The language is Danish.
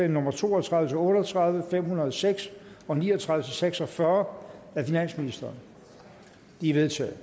nummer to og tredive til otte og tredive fem hundrede og seks og ni og tredive til seks og fyrre af finansministeren de er vedtaget